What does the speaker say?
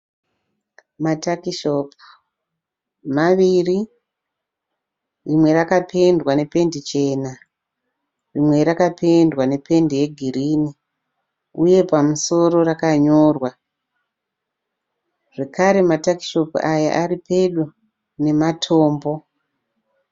Matakishopu maviri. Imwe yakapendwa nependi chena imwe yakapendwa nependi yegirinhi uye pamusoro yakanyorwa. Zvekare matakishopu aya ari pedo nematombo.